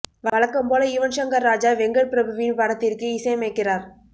வழக்கம் போல யுவன் ஷங்கர் ராஜா வெங்கட் பிரபுவின் படத்திற்கு இசையமைக்கிறார்